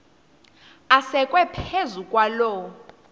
asekwe phezu kwaloo